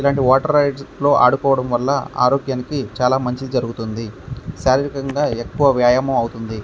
ఇలాంటి water rides లో ఆడుకోడం వాళ్ళ ఆరోగ్యానికి చాలా మంచి జరుగుతుంది. శారీరకంగా ఎక్కువ వ్యాయామం అవుతుంది.